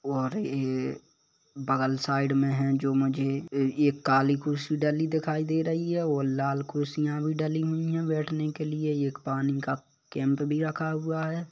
और ये बगल साइड में है जो मुझे एक काली कुर्सी डली दिखाई दे रही है और लाल कुर्सियां भी डली हुई है बैठने के लिए और ये एक पानी का कैंप भी रखा हुआ है।